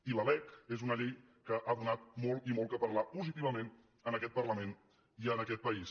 i la lec és una llei que ha donat molt i molt que parlar positivament en aquest parlament i en aquest país